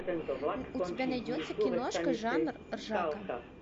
у тебя найдется киношка жанр ржака